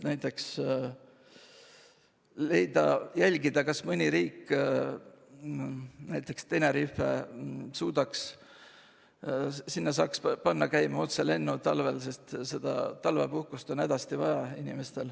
Näiteks võiks jälgida, kas mõnda riiki, näiteks Tenerifele, saaks panna käima talvised otselennud, sest talvepuhkust on inimestel hädasti vaja.